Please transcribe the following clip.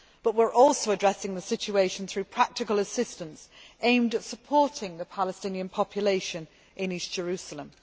We are also addressing the situation through practical assistance, aimed at supporting the Palestinian population in East Jerusalem.